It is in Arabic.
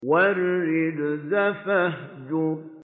وَالرُّجْزَ فَاهْجُرْ